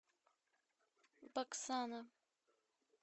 баксана